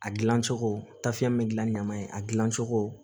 A gilan cogo tafiya min gilan ɲama in a gilan cogo